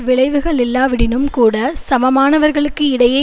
விழைவுகள் இல்லாவிடினும்கூட சமமானவர்களுக்கு இடையே